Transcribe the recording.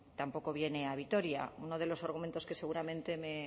tampoco viene a vitoria uno de los argumentos que seguramente